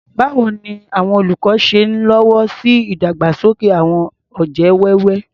Báwo ni àwọn olùkọ́ ṣe ń lọ́wọ́ sí ìdàgbàsókè àwọn ọ̀jẹ̀ wẹ́wẹ́?